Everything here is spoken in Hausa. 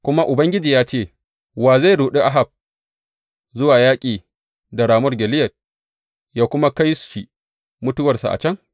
Kuma Ubangiji ya ce, Wa zai ruɗi Ahab zuwa yaƙi da Ramot Gileyad, yă kuma kai shi mutuwarsa a can?’